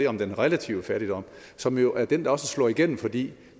om den relative fattigdom som jo er den der også slår igennem fordi